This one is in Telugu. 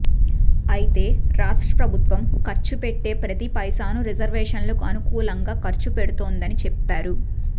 అయితే రాష్ట్ర ప్రభుత్వం ఖర్చు పెట్టే ప్రతి పైసాను రిజర్వేషన్లకు అనుకూలంగా ఖర్చు పెడుతోందని చెప్పారు